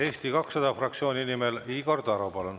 Eesti 200 fraktsiooni nimel Igor Taro, palun!